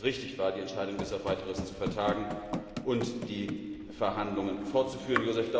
Ich glaube, dass es richtig war, die Entscheidung bis auf weiteres zu vertagen und die Verhandlungen fortzuführen.